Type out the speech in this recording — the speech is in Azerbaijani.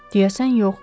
Deyəsən yox.